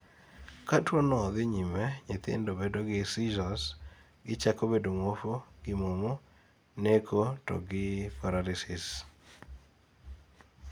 ka tuwono dhii nyime ,nyithindo bedo gi seizures, gichako bedo mwofu gi momo, neko to gi paralysis